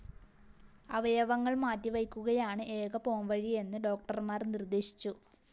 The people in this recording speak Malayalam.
അവയവങ്ങള്‍ മാറ്റിവയ്ക്കുകയാണ് ഏക പോംവഴിയെന്ന് ഡോക്ടര്‍മാര്‍ നിര്‍ദേശിച്ചു